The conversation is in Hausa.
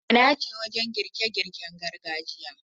Gwana ce wajen girke girken gargajiya.